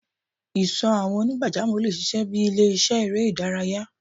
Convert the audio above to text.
Ìsò àwọn onigbajamo le ṣiṣẹ bi ile-iṣẹ èrè idaraya